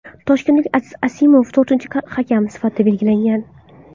Toshkentlik Aziz Asimov to‘rtinchi hakam sifatida belgilangan.